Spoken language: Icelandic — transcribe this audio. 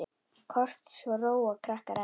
Kort svo róa krakkar enn.